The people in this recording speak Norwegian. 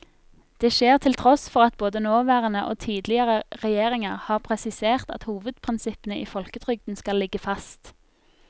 Det skjer til tross for at både nåværende og tidligere regjeringer har presisert at hovedprinsippene i folketrygden skal ligge fast.